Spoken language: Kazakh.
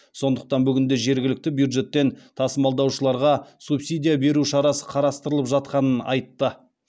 сондықтан бүгінде жергілікті бюджеттен тасымалдаушыларға субсидия беру шарасы қарастырылып жатқанын айтты